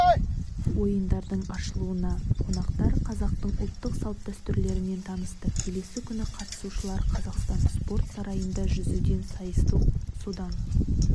ойындардың ашылуында қонақтар қазақтың ұлттық салт-дәстүрлерімен танысты келесі күні қатысушылар қазақстан спорт сарайында жүзуден сайысты содан